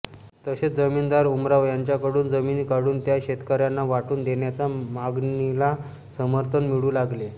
तसेच जमीनदार उमराव यांच्याकडून जमिनी काढून त्या शेतकऱ्यांना वाटून देण्याच्या मागणीला समर्थन मिळू लागले